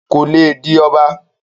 kò le di ọba